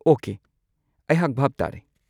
Okay, ꯑꯩꯍꯥꯛ ꯚꯥꯞ ꯇꯥꯔꯦ꯫